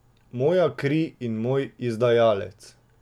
Moja kri in moj izdajalec.